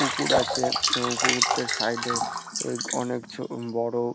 পুকুর আছে। এবং পুকুরটার সাইড -এ অনেক ছো বড়।